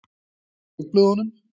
Í dagblöðunum?